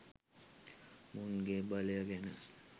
මුන්ගෙ බලය ගැන.